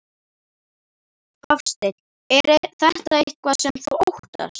Hafsteinn: Er þetta eitthvað sem þú óttast?